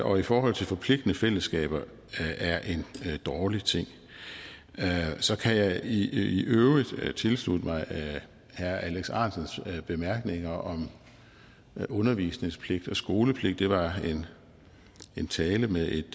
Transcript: og i forhold til forpligtende fællesskaber er en dårlig ting så kan jeg i øvrigt tilslutte mig herre alex ahrendtsens bemærkninger om undervisningspligt og skolepligt det var en tale med et